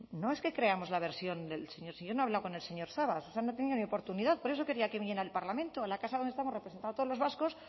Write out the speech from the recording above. no es que creamos la versión del señor si yo no he hablado con el señor sabas o sea no tenido ni oportunidad por eso quería que viniera al parlamento la casa donde estamos representados todos los vascos